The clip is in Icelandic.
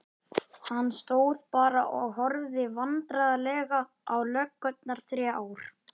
Hann stóð bara og horfði vandræðalega á löggurnar þrjár.